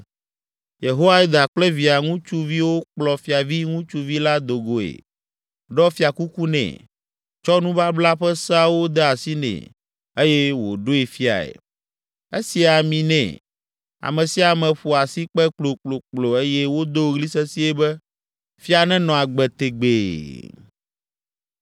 Yehoiada kple via ŋutsuviwo kplɔ fiavi ŋutsuvi la do goe, ɖɔ fiakuku nɛ, tsɔ nubabla ƒe seawo de asi nɛ eye wòɖoe fiae. Esi ami nɛ, ame sia ame ƒo asikpe kplokplokplo eye wodo ɣli sesĩe be, “Fia nenɔ agbe tegbee!”